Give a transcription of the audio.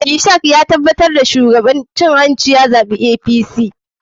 Ishak ya tabatar da ya karɓi kuɗin cin hanci ya zaɓi zzpp.